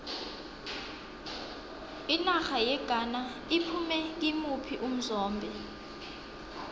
inarha yeghana iphume kimuphi umzombe